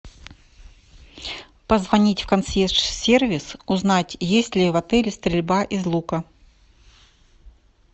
позвонить в консьерж сервис узнать есть ли в отеле стрельба из лука